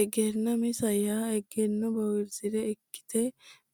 Egennaa misa yaa egenno bowirsa ikkite